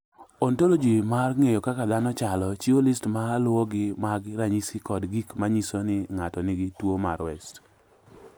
"Ontoloji mar ng’eyo kaka dhano chalo, chiwo list ma luwogi mag ranyisi kod gik ma nyiso ni ng’ato nigi tuwo mar West."